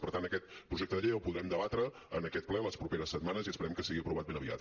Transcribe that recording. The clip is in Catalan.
per tant aquest projecte de llei el podrem debatre en aquest ple les properes setmanes i esperem que sigui aprovat ben aviat